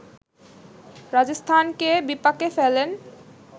রাজস্থানকে বিপাকে ফেলেন